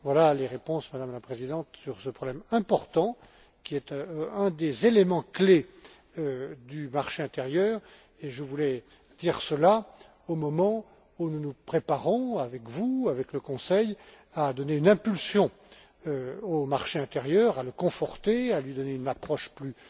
Voilà les réponses, Madame la présidente, sur ce problème important, qui est un des éléments clés du marché intérieur, et je voulais dire cela au moment où nous nous préparons, avec vous, avec le Conseil, à donner une impulsion au marché intérieur, à le conforter, à lui donner une approche plus